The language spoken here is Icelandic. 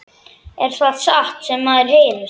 Er það satt sem maður heyrir?